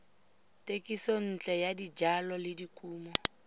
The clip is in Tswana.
tekisontle ya dijalo le dikumo